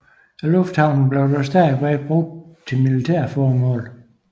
Lufthavnen blev dog stadigvæk brugt til militære formål